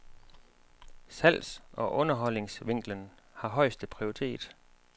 Salgs- og underholdningsvinklen har højeste prioritet.